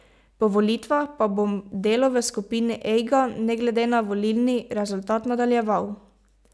Po volitvah pa bom delo v skupini Ejga ne glede na volilni rezultat nadaljeval.